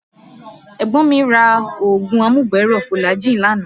Ẹ̀gbọ́n mi ra oògùn amúgbẹ̀ẹ́ rọ̀ fulajii lánàá